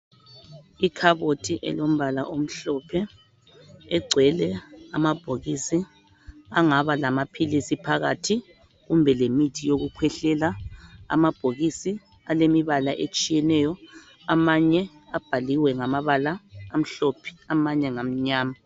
Ikhabothi elombala omhlophe egcwele amabhokisi angaba lamaphilisi phakathi kumbe lemithi yokukhwehlela amabhokisi alemibala etshiyeneyo amanye abhaliwe ngamabala amhlophe amanye ngamnyama.